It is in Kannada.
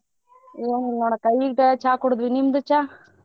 ಏನಿಲ್ಲ ನೋಡ ಅಕ್ಕಾ ಈಗ ಚಾ ಕುಡದ್ವಿ ನಿಮ್ದು ಚಾ?